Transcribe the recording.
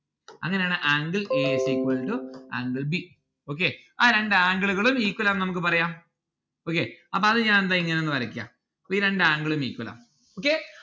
അങ്ങനെയാണ് angle a is equal to angle b, okay ആ രണ്ട് angle ഉകളും equal ആണെന്ന്‌ നമ്മുക്ക് പറയാം okay അപ്പൊ അത് ഞാൻ ഇതാ ഇങ്ങനെ ഒന്ന് വരക്കാം ഈ രണ്ട്‌ angle ഉം equal ആണ്. okay